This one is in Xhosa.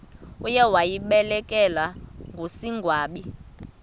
uye wabelekwa ngusigwamba